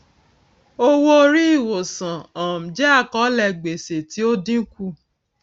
owóorí ìwòsàn um jẹ àkọọlẹ gbèsè tí ó dínkù